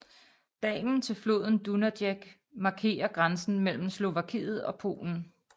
Dalen til floden Dunajec markerer grænsen mellem Slovakiet og Polen